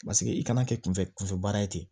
Paseke i kana kɛ kunfɛ kunfɛ baara ye ten